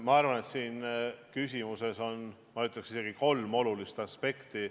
Ma arvan, et selles küsimuses on kolm olulist aspekti.